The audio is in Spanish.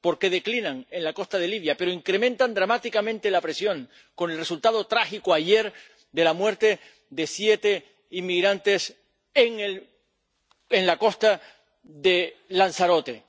Porque declinan en la costa de Libia, pero incrementan dramáticamente la presión, con el resultado trágico, ayer, de la muerte de siete inmigrantes en la costa de Lanzarote.